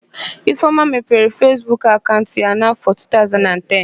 Ifeoma mepere Fesbuk akaụnt ya n'áfọ̀ 2010.